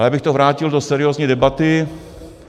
Ale abych to vrátil do seriózní debaty.